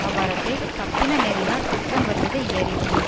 அவ்வறத்தைத் தப்பின நெறியினாற் குற்றம் வருவதை யறிந்து